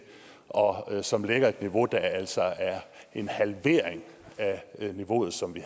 og som lægger et niveau der altså er en halvering af det niveau som vi